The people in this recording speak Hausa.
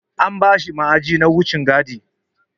An bashi ma'aji na wucin gadi.